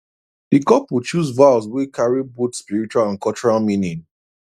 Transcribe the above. the couple choose vows wey carry both spiritual and cultural meaning